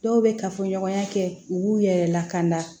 Dɔw bɛ kafoɲɔgɔnya kɛ u b'u yɛrɛ lakana